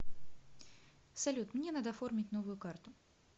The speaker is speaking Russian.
салют мне надо оформить новую карту